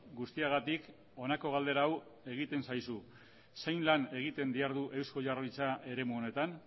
guztiagatik honako galdera hau egiten zaizu zein lan egiten dihardu eusko jaurlaritza eremu honetan